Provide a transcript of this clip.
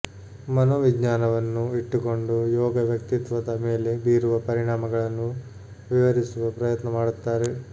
ಮನೋವಿಜ್ಞಾನವನ್ನು ಇಟ್ಟುಕೊಂಡು ಯೋಗ ವ್ಯಕ್ತಿತ್ವದ ಮೇಲೆ ಬೀರುವ ಪರಿಣಾಮಗಳನ್ನು ವಿವರಿಸುವ ಪ್ರಯತ್ನ ಮಾಡುತ್ತಾರೆ